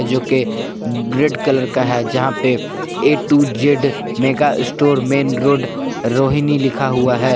जोकि red colour का है जहां पे A to Z mega store main road Rohini लिखा हुआ है।